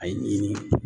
A ye